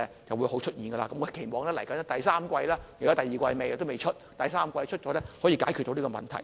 現在第二季末都未有，第三季發表後可以解決這個問題。